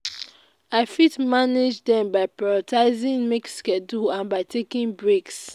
i fit manage dem by prioritizing make schedule and by taking breaks.